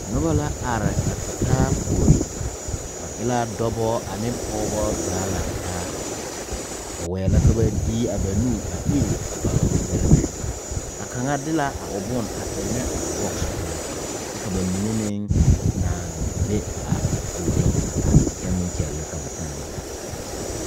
Nuba la arẽ a tu taa poure ba e la dɔba a ne pɔgba zaa lang taa ba weɛ la ka ba dee a ba nu a iri a ba widiribɛ a kanga de la a ɔ bun a enna a box pou kye ka ba mene meng nang be a poɔring a arẽ kye meng kyele ka ba time ta.